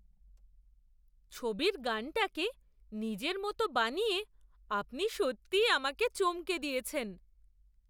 ছবির গানটাকে নিজের মতো বানিয়ে আপনি সত্যিই আমাকে চমকে দিয়েছেন!